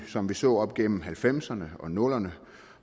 som vi så op igennem nitten halvfemserne og nullerne